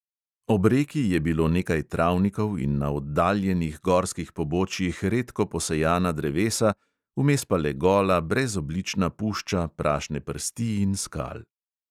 Ob reki je bilo nekaj travnikov in na oddaljenih gorskih pobočjih redko posejana drevesa, vmes pa le gola, brezoblična pušča prašne prsti in skal.